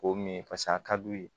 K'o min paseke a ka d'u ye